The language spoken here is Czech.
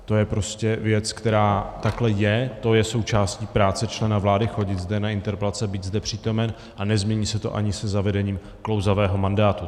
To je prostě věc, která takhle je, to je součástí práce člena vlády, chodit zde na interpelace, být zde přítomen, a nezmění se to ani se zavedením klouzavého mandátu.